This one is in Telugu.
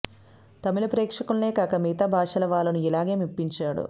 తమిళ ప్రేక్షకుల్నే కాక మిగతా భాషల వాళ్లనూ ఇలాగే మెప్పించాడు